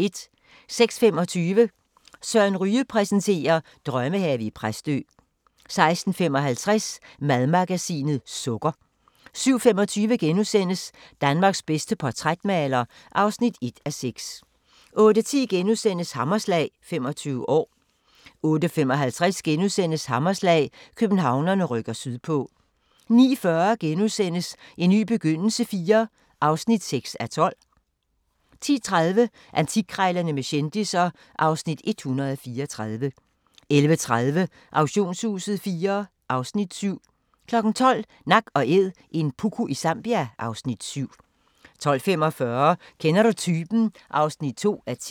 06:25: Søren Ryge præsenterer: Drømmehave i Præstø 06:55: Madmagasinet – Sukker 07:25: Danmarks bedste portrætmaler (1:6)* 08:10: Hammerslag – 25 år * 08:55: Hammerslag – Københavnerne rykker sydpå * 09:40: En ny begyndelse IV (6:12)* 10:30: Antikkrejlerne med kendisser (Afs. 134) 11:30: Auktionshuset IV (Afs. 7) 12:00: Nak & Æd – en puku i Zambia (Afs. 7) 12:45: Kender du typen? (2:10)